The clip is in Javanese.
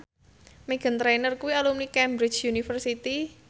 Meghan Trainor kuwi alumni Cambridge University